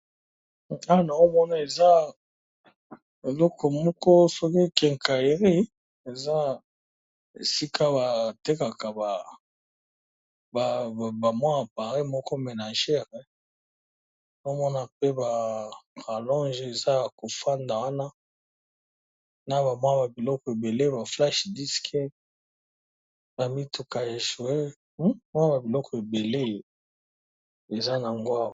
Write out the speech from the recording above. ana omona eza eloko moko soki kenkairi eza esika batekaka bamwa ya pare moko ménagere amona mpe barolonge eza ya kofanda wana na bamwa ba biloko ebele baflashe diski na mituka echwer mwa ba biloko ebele eza nyangwa